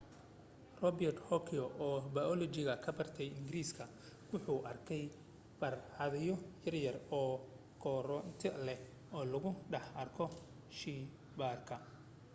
robert hooke oo bayolojiga ka barta ingiriiska wuxuu arkay barxadyo yar-yar oo koronto leh oo lagu dhex arko sheeeybaarka